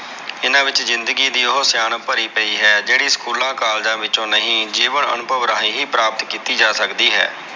ਹਨ ਵਿਚ ਜ਼ਿੰਦਗੀ ਦੀ ਉਹ ਸਿਆਣਪ ਭਰੀ ਪਈ ਹੈ, ਜਿਹੜੀ school college ਵਿੱਚੋ ਨਹੀਂ ਜੀਵਣੰ ਅਨੁਭਵ ਰਾਹੀਂ ਹੀ ਪ੍ਰਾਪਤ ਕੀਤੀ ਜਾ ਸਕਦੀ ਹੈ।